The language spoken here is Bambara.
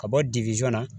Ka bɔ na